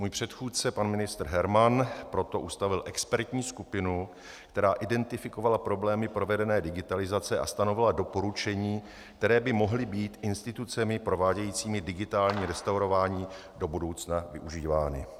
Můj předchůdce pan ministr Herman proto ustavil expertní skupinu, která identifikovala problémy provedené digitalizace a stanovila doporučení, která by mohla být institucemi provádějícími digitální restaurování do budoucna využívána.